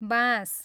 बाँस